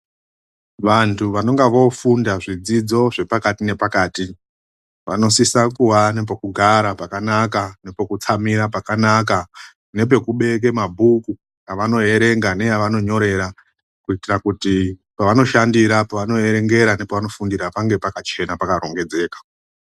Vantu vanonga vofunda zvidzidzo zvepakati nepakati vanosisisa kuve nepekugara pakanaka, nepekutsamira pakanaka ,nepekubeka mabhuku evanoerenga neavanonyorera. Kuitira kuti pevanoshandira pananoverengera nepavafundira pange pakachena, pakarongedzeka.